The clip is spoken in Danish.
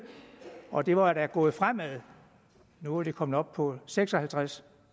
og det var da gået fremad nu var de kommet op på seks og halvtreds